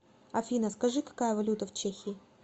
афина скажи какая валюта в чехии